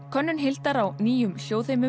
könnun Hildar á nýjum